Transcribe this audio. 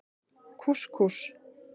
Kús Kús.